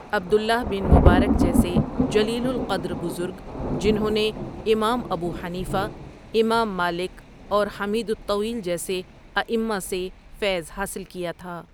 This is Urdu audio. عبداللہ بن مبارک جیسے جلیل القدر بزرگ ،جنہوں نے امام ابو حنیفہؒ، امام مالکؒ اورحمید الطویل جیسے آئمہ سے فیض حاصل کیا تھا ۔